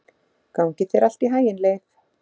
Gangi þér allt í haginn, Leif.